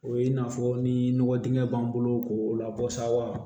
O ye i n'a fɔ ni nɔgɔ dingɛ b'an bolo k'o labɔ sawa